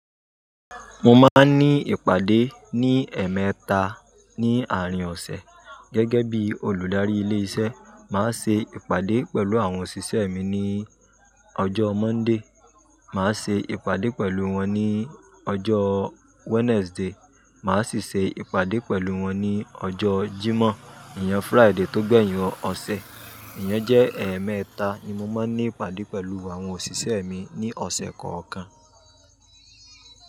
Mo máa ń ní ìpàdé ní ẹ̀ẹ̀mẹta ní àárín ọ̀sẹ̀. Gẹ́gẹ́ bí olùdarí ilé iṣẹ́, màá ṣe ìpàdé pẹ̀lú àwọn òṣìṣẹ́ mi ní ọjọ́ Monday, màá ṣe ìpàdé pẹ̀lú wọn ní ọjọ́ Wednesday, màá sì ṣe ìpàdé pẹ̀lú wọn ní ọjọ́ Jímọ̀, ìyẹn Friday tó gbẹ̀yin ọ̀sẹ̀. Ìyẹn jẹ́ ẹ̀ẹ̀mẹta tí mo máa ń ní ìpàdé pẹ̀lú àwọn òṣìṣẹ́ mi ní ọ̀sẹ̀ kọ̀ọ̀kan.